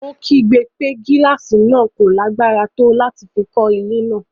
Ó kígbe pé gílàsì náà kò lágbára tó láti fi kọ́ ilé náà.